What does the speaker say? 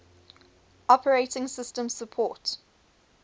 operating systems support